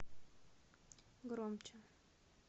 громче